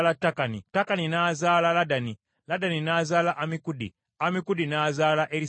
Takani n’azaala Ladani, Ladani n’azaala Ammikudi, Ladani n’azaala Erisaama,